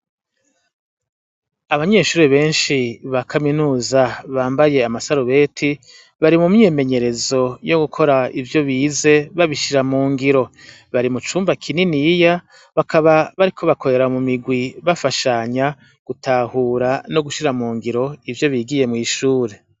Abanyeshure benshi ba Kaminuza bambaye amasarubeti bari mu myimenyerezo yo gukora ivyo bize babishira mu ngiro. Bari mu cumba kininiya bakaba bariko bakorera mu migwi bafashanya gutahura no gushira mu ngiro ivyo bigiye mw'ishure.